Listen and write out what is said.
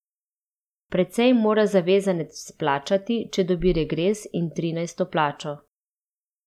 Precej mora zavezanec plačati, če dobi regres in trinajsto plačo.